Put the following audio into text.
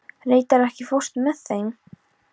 Reidar, ekki fórstu með þeim?